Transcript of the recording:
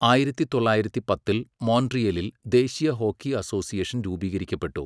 ആയിരത്തി തൊള്ളായിരത്തി പത്തിൽ മോൺട്രിയലിൽ ദേശീയ ഹോക്കി അസോസിയേഷൻ രൂപീകരിക്കപ്പെട്ടു.